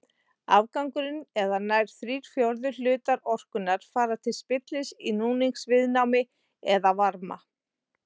Afgangurinn eða nær þrír fjórðu hlutar orkunnar fara til spillis í núningsviðnámi eða varma.